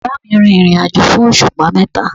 Bàbáà mi rìnrìnàjò fún òṣùpá mẹ́ta.